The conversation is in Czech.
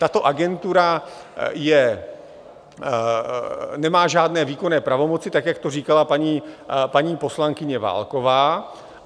Tato agentura nemá žádné výkonné pravomoci, tak jak to říkala paní poslankyně Válková.